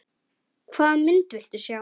Hvaða mynd viltu sjá?